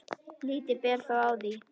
Lítið ber þó á því.